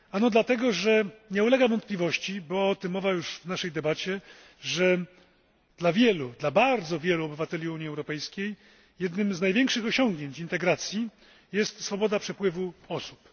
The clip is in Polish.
Dlatego, że nie ulega wątpliwości była o tym mowa już w naszej debacie że dla wielu, dla bardzo wielu obywateli Unii Europejskiej jednym z największych osiągnięć integracji jest swoboda przepływu osób.